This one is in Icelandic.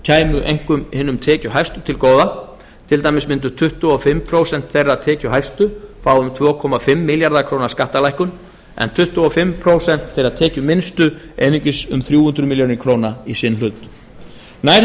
kæmu einkum hinum tekjuhæstu til góða til dæmis mundu tuttugu og fimm prósent þeirra tekjuhæstu fá um tvö komma fimm milljarða króna skattalækkun en tuttugu og fimm prósent þeirra tekjuminnstu einungis um þrjú hundruð milljóna króna í sinn hlut nær hefði